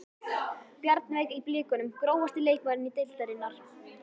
Bjarnveig í blikunum Grófasti leikmaður deildarinnar?